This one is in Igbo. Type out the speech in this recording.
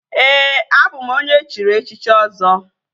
Ee, abụ m onye echiri echichi Ọzọ